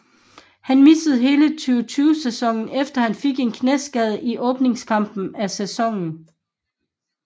Han missede hele 2020 sæsonen efter han fik en knæskade i åbningskampen af sæsonen